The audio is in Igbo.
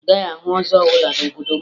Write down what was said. Ị gaghị ahụ ọzọ ọbụla n'obodo m